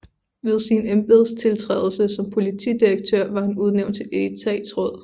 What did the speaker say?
Ved sin embedstiltrædelse som politidirektør var han udnævnt til etatsråd